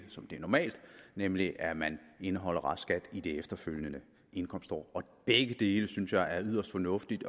som det er normalt nemlig at man indeholder restskatten i det efterfølgende indkomstår og begge dele synes jeg er yderst fornuftigt